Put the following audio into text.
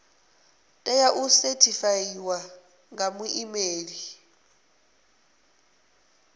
tea u sethifaiwa nga muimeli